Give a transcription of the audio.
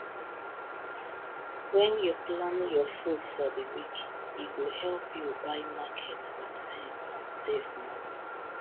when you plan your food for the week e go help you buy market with sense and save money